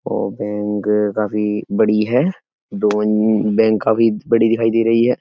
ओ bank काफी बड़ी है। दो बैंक काफी बड़ी दिखाइ दे रही है।